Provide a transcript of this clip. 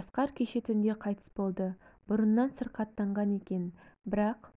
асқар кеше түнде қайтыс болды бұрыннан сырқаттанған екен бірақ